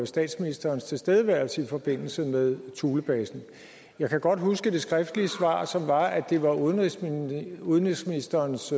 statsministerens tilstedeværelse i forbindelse med thulebasen jeg kan godt huske det skriftlige svar som var at det var udenrigsministerens udenrigsministerens